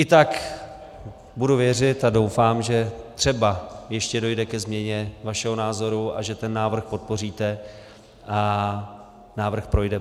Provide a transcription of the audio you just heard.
I tak budu věřit a doufám, že třeba ještě dojde ke změně vašeho názoru a že ten návrh podpoříte a návrh projde.